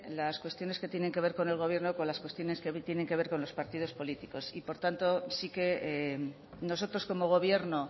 las cuestiones que tienen que ver con el gobierno con las cuestiones que hoy tienen que ver con los partidos políticos y por tanto sí que nosotros como gobierno